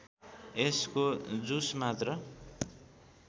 यसको जुस मात्र